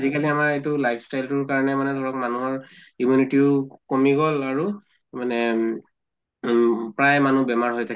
আজি কালি আমাৰ এইটো life style তোৰ কাৰণে মানে ধৰক মানুহৰ immunity ও কমি গʼল আৰু মানে উম উম প্ৰায় মানুহ বেমাৰ হৈ থাকে